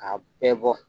K'a bɛɛ bɔ